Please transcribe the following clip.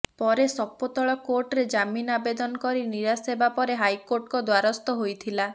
ପରେ ସପୋ ତଳ କୋର୍ଟରେ ଜାମିନ ଆବେଦନ କରି ନିରାଶ ହେବାପରେ ହାଇକୋର୍ଟଙ୍କ ଦ୍ବାରସ୍ତ ହୋଇଥିଲା